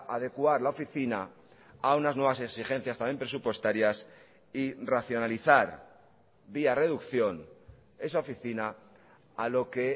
adecuar la oficina a unas nuevas exigencias también presupuestarias y racionalizar vía reducción esa oficina a lo que